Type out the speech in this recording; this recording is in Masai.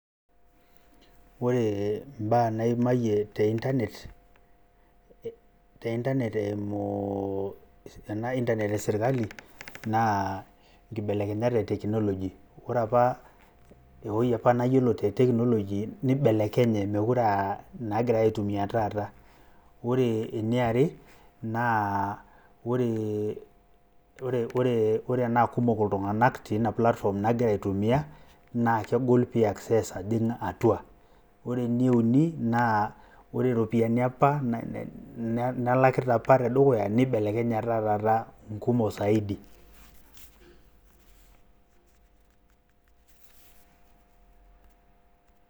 ore mbaa naimayie te internet te internet eimu ena internet e sirkali naa nkibelekenyat e tchnology . ore apa ewui apa nayiolo te technology nibelekenye mokire aa nagirae aitumia taata. ore eniare naa ore ,ore enaa kumok iltunganak tina platform nagira aitumia naa kegol pi access ajing atua .ore ene uni naa ore iropiyiani apa nalakita apa tedukuya ,nibelekenya etaa taa kumok saidi.